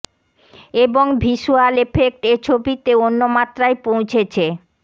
এবং visual effect এ ছবিতে অন্য মাত্রায় পৌঁছেছে